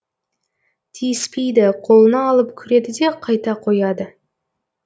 тиіспейді қолына алып көреді де қайта қояды